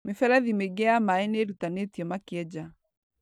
Mĩferethi mĩingĩ ya maĩ nĩ ĩrutanĩtio makĩenja.